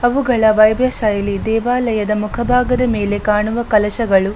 ಅವುಗಳ ವೈಭವ ಶೈಲಿ ದೇವಾಲಯದ ಮುಖ ಭಾಗದ ಮೇಲೆ ಕಾಣುವ ಕಳಶಗಳು